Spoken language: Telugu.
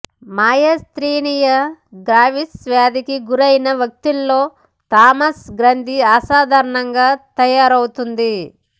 మయస్తీనియా గ్రెవిస్ వ్యాధికి గురైన వ్యక్తుల్లో థైమస్ గ్రంథి అసాధారణంగా తయారవుతుంది